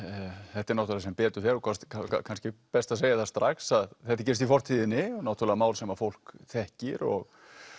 þetta er náttúrulega sem betur fer og kannski best að segja það strax að þetta gerist í fortíðinni náttúrulega mál sem að fólk þekkir og